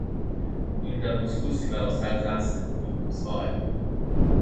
In da poskusiva vsak zase in po svoje.